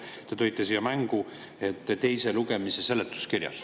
Ja te tõite siin mängu ka teise lugemise seletuskirja.